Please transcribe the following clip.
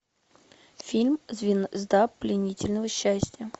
фильм звезда пленительного счастья